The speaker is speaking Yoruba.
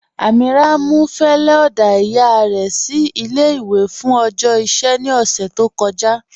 Amíírà mú fẹlẹ oda iyà rẹ sí ilé-ìwé fún ọjọ́ iṣẹ̀ ní ọṣẹ̀ tó kọ̀jà.